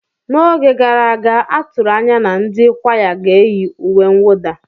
N'oge gara aga, a tụrụ anya na ndị kwaya ga-eyi uwe mwụda.